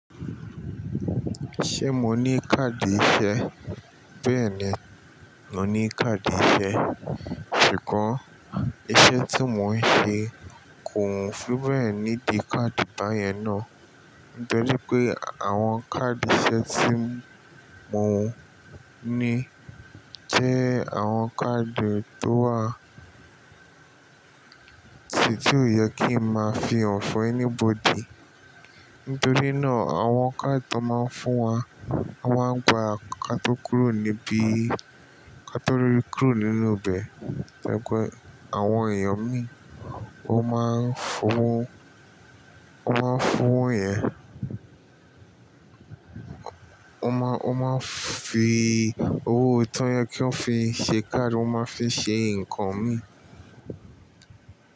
Ṣé mo ní káàdì ìṣe? Bẹ́ẹ̀ni, mo ní káàdì ìṣe. Kàn ìṣe tí mo ń ṣe kò fi bẹ́ẹ̀ níbi káàdì báyẹn ná. Tori pé àwọn káàdì ìṣe tí mo ní jẹ́ àwọn káàdì tó wà, tì tí ó yẹ kí n máa fi hàn fún anybody. Nítorí náà àwọn kadi tó máa ń fún wa, won máa ń gba kato kúrò níbí kato kúrò nínú bẹ̀. Gẹ́gẹ́ àwọn èèyàn mi, ó máa ń fún, ó máa ń fún yẹn, ó máa, ó máa fi owó tó yẹ kí wọ́n fi ṣe káàdì, wọ́n máa fi ṣe ǹkan mi.